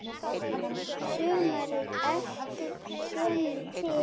Sumarið eftir kem ég til